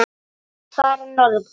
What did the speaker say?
að fara norður?